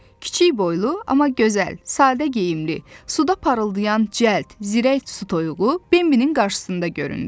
Kiçik boylu, amma gözəl, sadə geyimli, suda parıldayan cəld, zirək su toyuğu Bembinin qarşısında göründü.